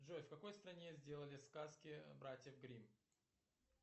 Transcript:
джой в какой стране сделали сказки братьев гримм